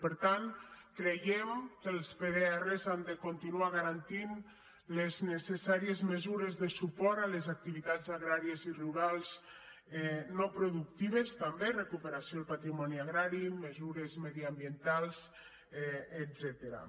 per tant creiem que els pdr han de continuar garantint les necessàries mesures de suport a les activitats agrà·ries i rurals no productives també recuperació del pa·trimoni agrari mesures mediambientals etcètera